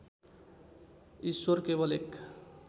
ईश्वर केवल एक